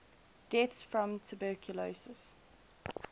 deaths from tuberculosis